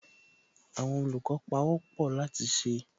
Àwọn olùkọ́ pawọ́pọ̀ láti ṣe